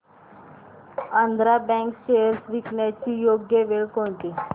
Andhra bank shares विकण्याची योग्य वेळ कोणती